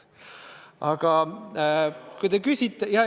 Aga kui te küsite ...